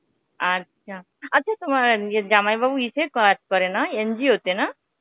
আচ্ছা. আচ্ছা তোমার ইয়ে জামাইবাবু ইসে কাজ করে না NGO তে না?